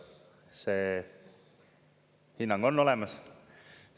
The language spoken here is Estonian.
" See hinnang on olemas.